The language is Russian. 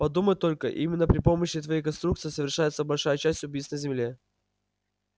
подумать только именно при помощи твоей конструкции совершается большая часть убийств на земле